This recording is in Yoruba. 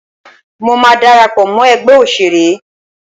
Mọ máa darapọ̀ mọ́ ẹgbẹ́ òṣèré.